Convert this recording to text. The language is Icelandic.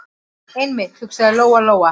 Einmitt, hugsaði Lóa- Lóa.